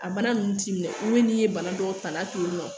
A bana nunnu t'i minɛ olu n'i ye bana dɔw tanga to yen nɔ